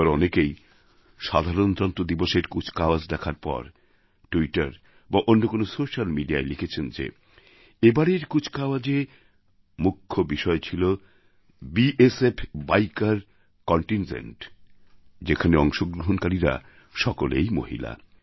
এবার অনেকেই সাধারণতন্ত্র দিবসের কুচকাওয়াজ দেখার পর ট্যুইটার বা অন্য কোনও সোস্যাল মিডিয়ায় লিখেছেন যে এবারের কুচকাওয়াজে মুখ্য বিষয় ছিল বিএসএফ বিকের কন্টিনজেন্ট যেখানে অংশগ্রহণকারীরা সকলেই মহিলা